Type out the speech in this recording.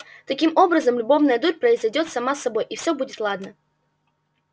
таким образом любовная дурь произойдёт сама собой и все будет ладно